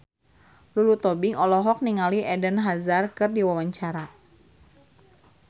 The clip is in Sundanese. Lulu Tobing olohok ningali Eden Hazard keur diwawancara